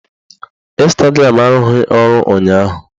Ịnstagram arụghị ọrụ ụnyaahụ